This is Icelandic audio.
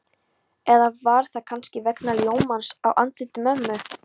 Eða var það kannski vegna ljómans á andliti mömmu?